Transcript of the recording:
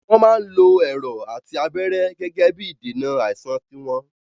Wọn máa ń lo Ẹ̀rọ̀ àti abẹ́rẹ́ Gẹ́gẹ́bí ìdènà àìsàn tiwọn